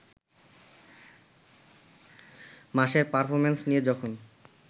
মাসের পারফরমেন্স নিয়ে যখন